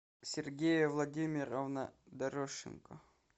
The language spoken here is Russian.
сергея владимировна дорошенко